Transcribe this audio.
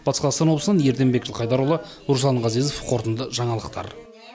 батыс қазақстан облысынан ерденбек жылқайдарұлы руслан ғазизов қорытынды жаңалықтар